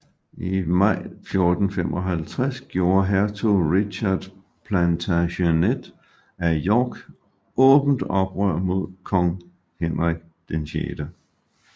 I maj 1455 gjorde hertug Richard Plantagenet af York åbent oprør mod kong Henrik 6